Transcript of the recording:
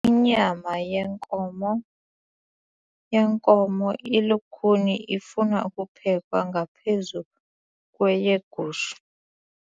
Inyama yenkomo inkomo ilukhuni ifuna ukuphekwa ngaphezu kweyegusha.